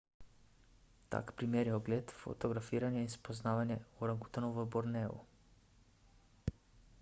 tak primer je ogled fotografiranje in spoznavanje orangutanov v borneu